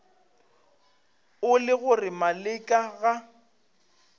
e le gore maleka ga